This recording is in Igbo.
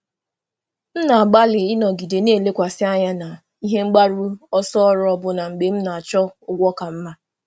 Ana m agbalị ịnọgide lekwasịrị um anya na ebumnuche ọrụ ọbụlagodi mgbe m na-achọ ụgwọ ọrụ ka mma.